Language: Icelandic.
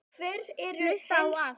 Hlusta á allt!!